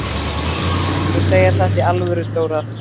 Ertu að segja þetta í alvöru, Dóra?